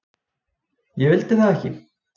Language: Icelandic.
Ég vildi það ekki.